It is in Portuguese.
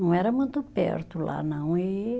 Não era muito perto lá, não. E